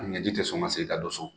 A ni ɲɛji tɛ sɔn ka segin don so.